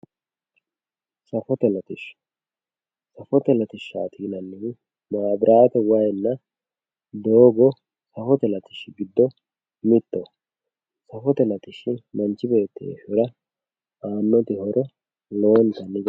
safote latishsha safote latishshaati yinanihu maabiraate waayiinna doogo safote latishshi giddo mittoho, safote latishhsi manchi beettira aanno horo lowote